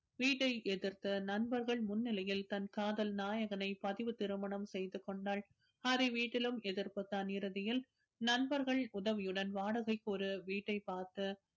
வீட்டை எதிர்த்து நண்பர்கள் முன்னிலையில் தன் காதல் நாயகனை பதிவுத் திருமணம் செய்து கொண்டாள் ஹரி வீட்டிலும் எதிர்ப்புத்தான் இறுதியில் நண்பர்கள் உதவியுடன் வாடகைக்கு ஒரு வீட்டை பார்த்து